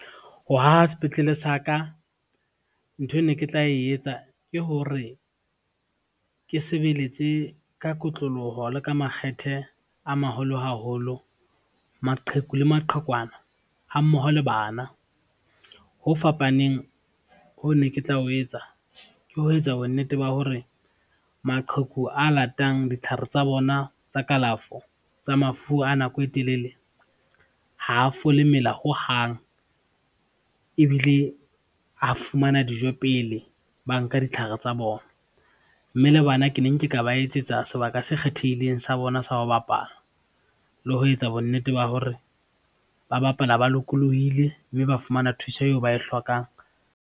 Ho haha sepetlele sa ka, nthwe ne ke tla etsa ke hore, ke sebeletse ka kotloloho le ka makgethe a maholo haholo maqheku le maqhekwana ha mmoho le bana. Ho fapaneng ho ne ke tla o etsa ke ho etsa bonnete ba hore, maqheku a latang ditlhare tsa bona tsa kalafo, tsa mafu a nako e telele ha fole mela hohang ebile, a fumana dijo pele ba nka ditlhare tsa bona, mme le bana ke neng ke ka ba etsetsa sebaka se kgethehileng sa bona sa ho bapala le ho etsa bonnete ba hore ba bapala ba lokolohile, mme ba fumana thuso eo ba e hlokang.